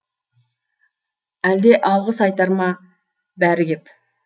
әлде алғыс айтар ма бәрі кеп